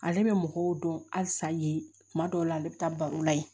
Ale bɛ mɔgɔw dɔn halisa yen kuma dɔw la ale bɛ taa baro la yen